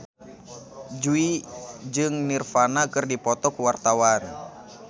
Jui jeung Nirvana keur dipoto ku wartawan